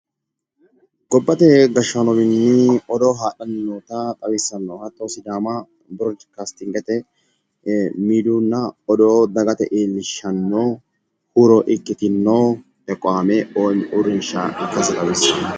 Gobbate gashshaanowini odoo hadhanni nootta xawisanno